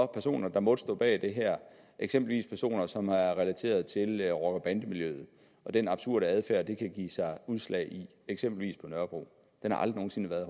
personer der måtte stå bag det her eksempelvis de personer som er relateret til rocker bande miljøet og den absurde adfærd det kan give sig udslag i eksempelvis på nørrebro har aldrig nogen sinde været